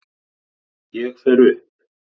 Ég fer upp.